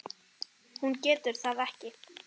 Hún getur það ekki.